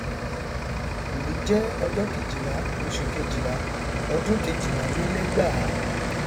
òní jẹ ọjọ kejìlá oṣù kejìlá ọdún kejìlálélẹgbàá